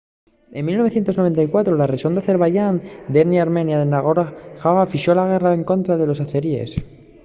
en 1994 la rexón d’azerbaixán d’etnia armenia de nagorno-karabaj fixo la guerra escontra los azerís